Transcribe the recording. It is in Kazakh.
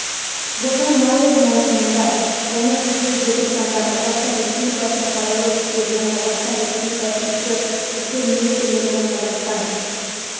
жылдың наурыз маусымында және қыркүйек желтоқсанында қазақстан республикасының қарулы күштеріне қазақстан республикасының ішкі істер министрлігіне қазақстан